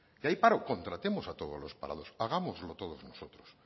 que hay paro contratemos a todos los parados hagámoslo todos nosotros